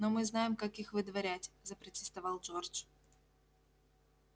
но мы знаем как их выдворять запротестовал джордж